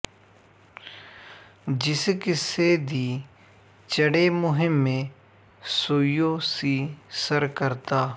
ਜਿਸ ਕਿੱਸੇ ਦੀ ਚੜ੍ਹੇ ਮੁਹਿੰਮੇ ਸੋਈੳ ਸੀ ਸਰ ਕਰਦਾ